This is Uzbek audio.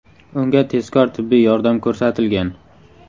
Unga tezkor tibbiy yordam ko‘rsatilgan.